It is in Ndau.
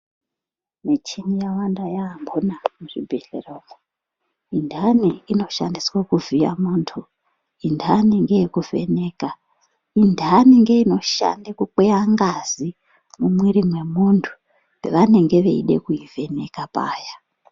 Michini yawanda yaambona muzvibhehlera umwu. Intani inoshandiswe kuvhiya muntu, intani ngeyekuvheka, intani ngeinoshande kukweya ngazi mumwiiri mwemuntu pavanenge veida kuivheneka paya.